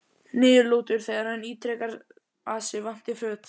Niðurlútur þegar hann ítrekar að sig vanti föt.